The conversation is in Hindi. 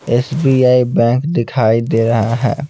एस_बी_आई बैंक दिखाई दे रहा है।